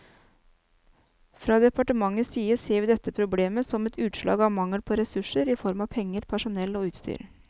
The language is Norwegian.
Fra departementets side ser vi dette problemet som et utslag av mangel på ressurser i form av penger, personell og utstyr.